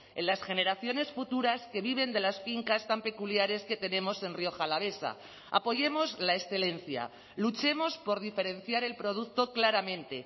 en las generaciones futuras que viven de las fincas tan peculiares que tenemos en rioja alavesa apoyemos la excelencia luchemos por diferenciar el producto claramente